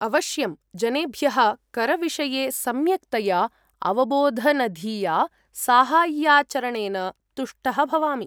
अवश्यम्, जनेभ्यः करविषये सम्यक्तया अवबोधनधिया साहाय्याचरणेन तुष्टः भवामि।